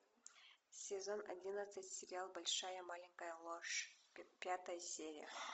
сезон одиннадцать сериал большая маленькая ложь пятая серия